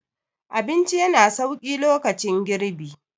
abinci yana sauki lokacin girbi